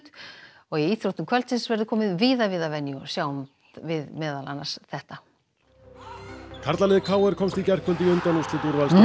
og í íþróttum kvöldsins verður komið víða við að venju og sjáum við meðal annars þetta karlalið k r komst í gærkvöldi í undanúrslit úrvalsdeildar